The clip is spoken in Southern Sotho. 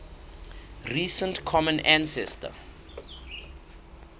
recent common ancestor